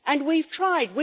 and we've tried.